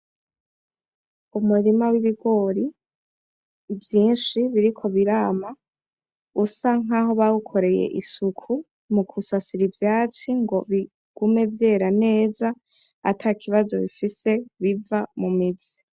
Umurima w'ibigori vyinshi biriko birama usa nkaho bawukoreye isuku mu gusasira ivyatsi ngo bigume vyera neza atakibazo bifise biva mu mizi.